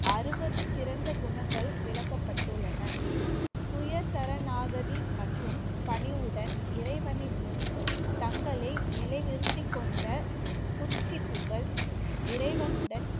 அறுபது சிறந்த குணங்கள் விளக்கப்பட்டுள்ளன. சுய சரணாகதி மற்றும் பணிவுடன் இறைவனின் முன் தங்களை நிலைநிறுத்திக் கொண்ட இறைவனுடன்